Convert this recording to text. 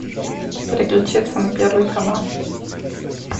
переключиться на первый канал